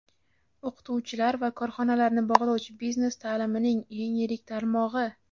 o‘qituvchilar va korxonalarni bog‘lovchi biznes taʼlimining eng yirik tarmog‘i.